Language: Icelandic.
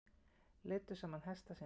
Leiddu saman hesta sína